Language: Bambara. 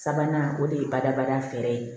Sabanan o de ye badabada fɛɛrɛ ye